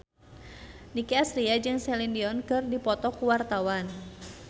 Nicky Astria jeung Celine Dion keur dipoto ku wartawan